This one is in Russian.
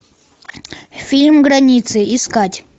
фильм границы искать